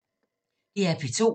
DR P2